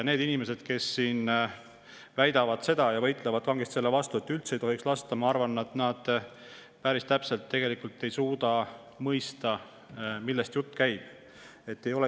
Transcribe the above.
Need inimesed, kes siin väidavad, et üldse ei tohiks lasta, ja võitlevad kangesti selle vastu, ma arvan, ei suuda tegelikult päris täpselt mõista, millest jutt käib.